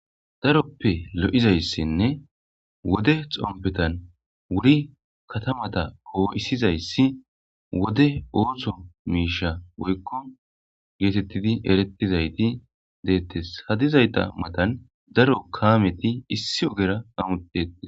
daroppe lo7izayssinne wode xompetan wuri katamata koo7isizayssi wode oothsho miisha woykko geetettidi erettizayti deettes hadizayta matan daro kaameti issi ogera amutetes